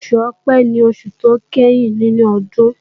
Oṣù Ọ̀pẹ́ ni oṣù tó ìkẹyìn nínú ọdún